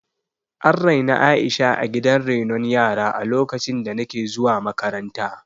An raini Aisha a gidan renon yara a lokacin da nake zuwa makaranta